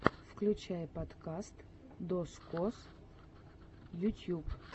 включай подкаст дозкоз ютьюб